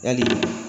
Yali